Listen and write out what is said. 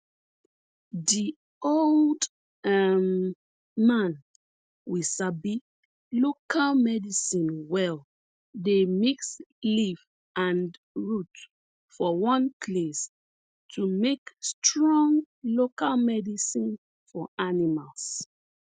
di old um man we sabi local medicine well dey mix leaf and root for one place to make strong local medicine for animals